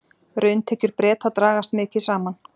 Rauntekjur Breta dragast mikið saman